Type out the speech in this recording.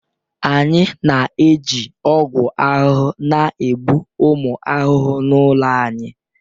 Anyị na-eji ọgwụ ahụhụ na-egbu ụmụ ahụhụ n'ụlọ anyị